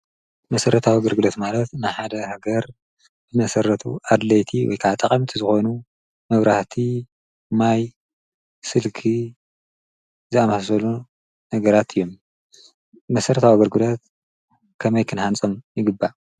መሠረት ኣወገር ግለት ማለት ንሓደ ነገር ብመሠረቱ ኣድለይቲ ወይከዓጥቐምቲ ዝኾኑ ምብራህቲ ማይ ስልኪ ዝኣማሰሎ ነገራት እዩም መሠረት ኣወገር ግለት ከመይ ክንሓንጾም ይግባ